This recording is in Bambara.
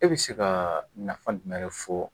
E bɛ se ka nafa jumɛn de fɔ